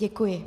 Děkuji.